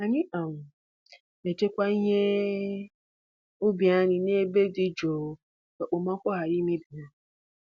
Anyị um na-echekwa ihe ubi anyị n’ebe dị jụụ ka okpomọkụ ghara imebi ha.